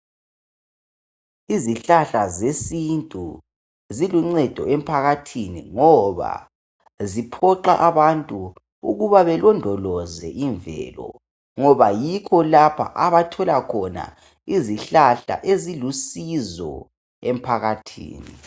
Izihlahla zesintu ziluncedo emphakathini ngoba ziphoxa abantu ukuba belondoloze imvelo ngoba yikho lapho abathola khona izihlahla ezilusizo emphakathini